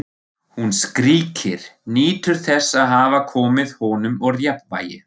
Hún skríkir, nýtur þess að hafa komið honum úr jafnvægi.